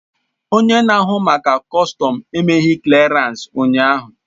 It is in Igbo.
Onye na-ahụ maka kọstọm emeghị klịarans ụnyaahụ